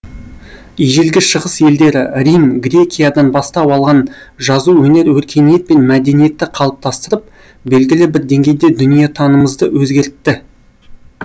ежелгі шығыс елдері рим грекиядан бастау алған жазу өнері өркениет пен мәдениетті қалыптастырып белгілі бір деңгейде дүниетанымымызды өзгертті